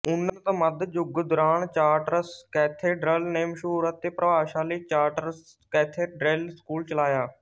ਉੱਨਤ ਮੱਧ ਯੁੱਗ ਦੌਰਾਨ ਚਾਰਟਰਸ ਕੈਥੇਡ੍ਰਲ ਨੇ ਮਸ਼ਹੂਰ ਅਤੇ ਪ੍ਰਭਾਵਸ਼ਾਲੀ ਚਾਰਟਰਸ ਕੈਥੇਡ੍ਰਲ ਸਕੂਲ ਚਲਾਇਆ